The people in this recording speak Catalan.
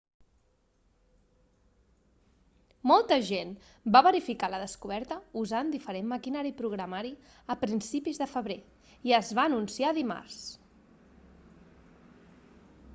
molta gent va verificar la descoberta usant diferent maquinari i programari a principis de febrer i es va anunciar dimarts